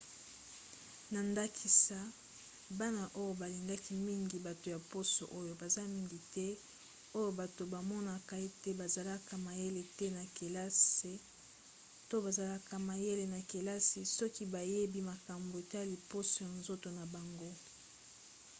na ndakisa bana oyo balingaki mingi bato ya poso oyo baza mingi te oyo bato bamonaka ete bazalaka mayele te na kelase to bazalaka mayele na kelasi soki bayebi makambo etali poso ya nzoto na bango